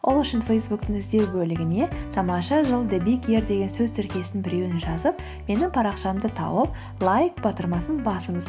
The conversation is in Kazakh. ол үшін фейсбуктің іздеу бөлігіне тамаша жыл деген сөз тіркесінің біреуін жазып менің парақшамды тауып лайк батырмасын басыңыз